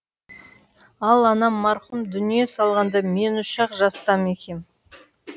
ал анам марқұм дүние салғанда мен үш ақ жаста екем